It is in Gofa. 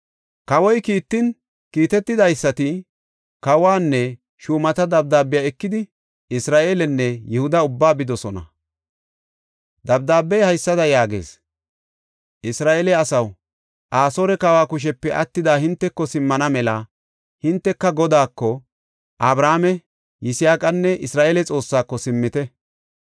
Kawoy kiitan, kiitetidaysati, kawanne shuumata dabdaabiya ekidi Isra7eelenne Yihuda ubbaa bidosona. Dabdaabey haysada yaagees; “Isra7eele asaw, Asoore kawa kushepe attida hinteko simmana mela hinteka Godaako, Abrahaame, Yisaaqanne Isra7eele Xoossaako simmite!